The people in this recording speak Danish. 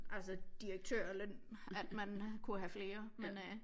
Altså direktørløn at man kunne have flere men øh